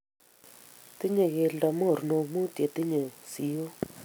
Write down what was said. Tinyei keldo mornok muut chetinyei siok